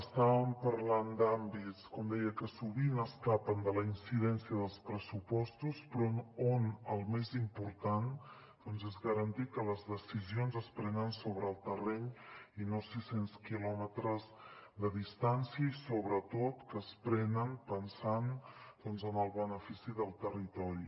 estàvem parlant d’àmbits com deia que sovint escapen de la incidència dels pressupostos però on el més important és garantir que les decisions es prenen sobre el terreny i no a sis cents quilòmetres de distància i sobretot que es prenen pensant doncs en el benefici del territori